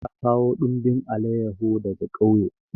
Kakata ta kawo dumbin alayahu daga ƙauye.